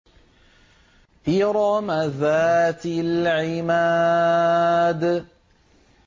إِرَمَ ذَاتِ الْعِمَادِ